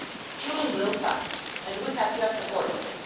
First, children grow fast and we have to act accordingly.